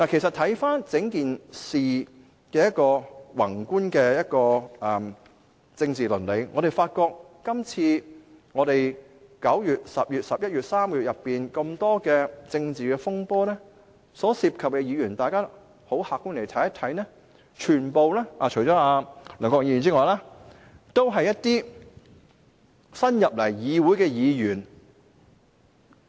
看回整件事情的宏觀政治倫理，我們發覺在9月、10月、11月這3個月內，多場政治風波所涉及的議員，客觀地看，除梁國雄議員外，都是一些新加入立法會的議員。